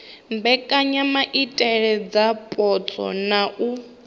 mbekanyamaitele dza zwipotso na u